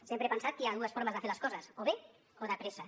sempre he pensat que hi ha dues formes de fer les coses o bé o de pressa